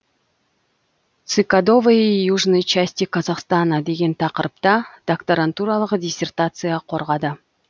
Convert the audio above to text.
цикадовые южной части казахстана деген тақырыпта докторантуралық диссертация қорғады